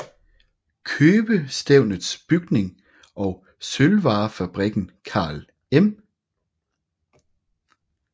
Købestævnets bygning og sølvvarefabrikken Carl M